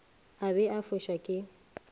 a be a fuša ke